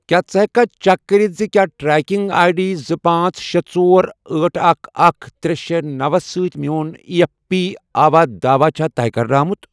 کیٛاہ ژٕ ہیٚککھا چیک کٔرتھ زِ کیٛاہ ٹریکنگ آٮٔۍ ڈی زٕ، پانژھ، شے، ژور، ٲٹھ، اکھ، اکھ، ترے، شے، نوَ سۭتۍ میٚون ایی ایف پی آواہ داواہ چھا طے کَرنہٕ آمُت؟